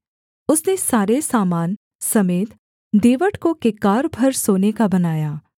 उसने सारे सामान समेत दीवट को किक्कार भर सोने का बनाया